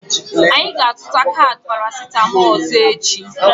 Anyị ga-azụta kaadị parasitamolu ọzọ echi.